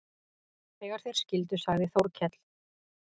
Þegar þeir skildu sagði Þórkell